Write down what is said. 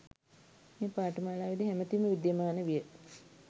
මේ පාඨමාලාවේදී හැමතින්ම විද්‍යමාන විය